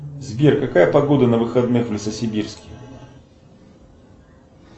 сбер какая погода на выходных в лесосибирске